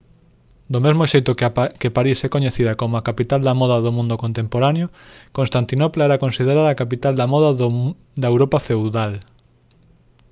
do mesmo xeito que parís é coñecida como a capital da moda do mundo contemporáneo constantinopla era considerada a capital da moda da europa feudal